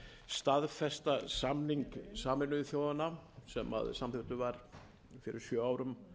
staðfesta samning sameinuðu þjóðanna sem samþykktur var fyrir sjö árum